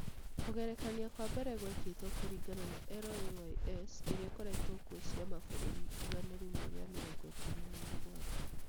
Kũgerekania kwa mbere gwekĩtwo kũringana na LAYS iria ikoretwo kuo cia mabũrũri igana rĩmwe rĩa mĩrongo ĩtano na mũgwanja